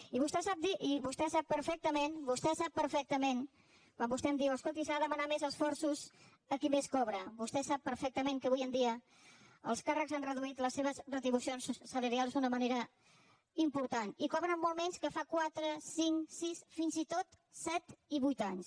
i vostè sap perfectament vostè ho sap perfectament quan vostè em diu escolti s’ha de demanar més esforços a qui més cobra vostè ho sap perfectament que avui dia els càrrecs han reduït les seves retribucions salarials d’una manera important i cobren molt menys que fa quatre cinc sis fins i tot set i vuit anys